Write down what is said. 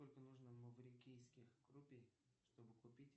сколько нужно маврикийских рупий чтобы купить